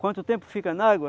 Quanto tempo fica aí na água?